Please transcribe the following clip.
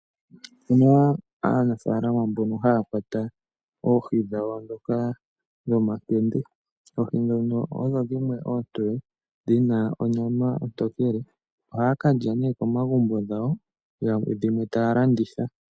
Opu na aanafaalama yamwe mbono haa kwata oohi dhawo, ndhoka dhomankende. Oohi ndhono odho dhimwe oontoye, dhi na onyama ontokele. Ohaa ka lya ne komagumbo gawo, dhimwe ta ya landitha.